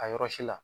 A yɔrɔ si la